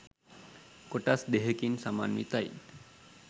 කොටස් දෙහෙකින් සමන්විතයි